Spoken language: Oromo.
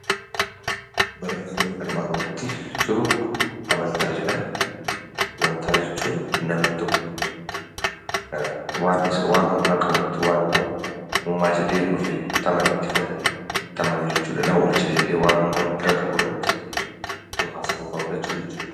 Barreeffamni armaan olitti jiru 'Amantaa' jedha. Amantaa jechuun namni tokko waan humna qabutti yookaan immoo uumaa jedhee ofii itti amanetti kan amanu jechuu dha. Na oolcha jedhee waan humna guddaa qabu irratti of abdachuu jechuu dha.